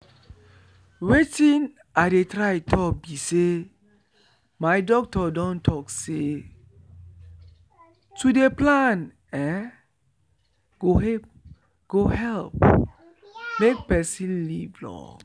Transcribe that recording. wetin i dey try talk be say my doctor don talk say to dey plan ehnn go help make person live long